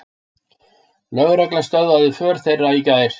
Lögregla stöðvaði för þeirra í gær